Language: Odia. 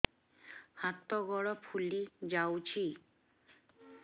ହାତ ଗୋଡ଼ ଫୁଲି ଯାଉଛି